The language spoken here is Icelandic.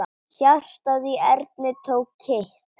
Hjartað í Erni tók kipp.